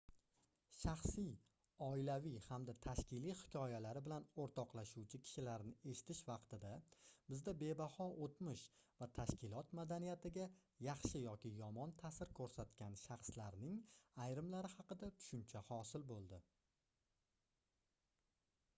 shaxsiy oilaviy hamda tashkiliy hikoyalari bilan oʻrtoqlashuvchi kishilarni eshitish vaqtida bizda bebaho oʻtmish va tashkilot madaniyatiga yaxshi yoki yomon taʼsir koʻrsatgan shaxslarning ayrimlari haqida tushuncha hosil boʻldi